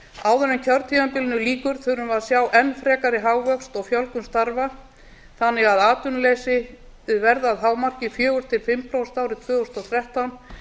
áður en kjörtímabilinu lýkur þurfum við að sjá enn frekari hagvöxt þannig að atvinnuleysi verði að hámarki fjóra til fimm prósent árið tvö þúsund og þrettán